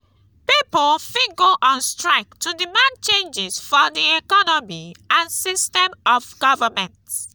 pipo fit go on strike to demand changes for di economy and system of government